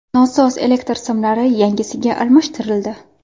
Nosoz elektr simlari yangisiga almashtirildi.